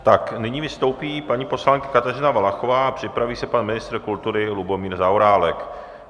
Tak nyní vystoupí paní poslankyně Kateřina Valachová, připraví se pan ministr kultury Lubomír Zaorálek.